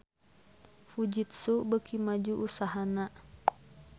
Fujitsu beuki maju usahana